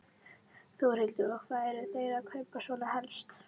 Þórhildur: Og hvað eru þeir að kaupa svona helst?